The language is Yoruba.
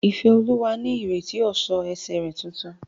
Ifeoma ń retí ọ̀ṣọ́ ẹsẹ̀ rẹ̀ tuntun.